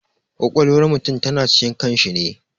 Ƙwaƙwalwar mutum ta na cikin kan shi ne